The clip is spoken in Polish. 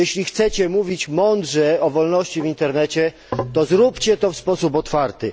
Jeśli chcecie mówić mądrze o wolności w Internecie, to zróbcie to w sposób otwarty.